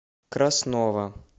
краснова